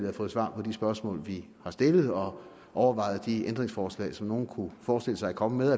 har fået svar på de spørgsmål vi har stillet og overvejet de ændringsforslag som nogen godt kunne forestille sig at komme med